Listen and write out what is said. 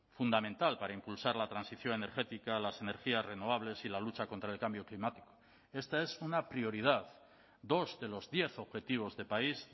fundamental para impulsar la transición energética las energías renovables y la lucha contra el cambio climático esta es una prioridad dos de los diez objetivos de país